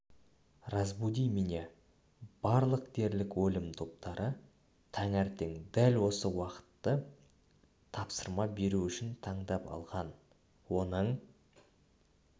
разбуди меня барлық дерлік өлім топтары таңертең дәл осы уақытты тапсырма беру үшін таңдап алған оның